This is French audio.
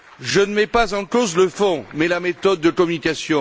Je ne mets pas en cause le fond, mais la méthode de communication.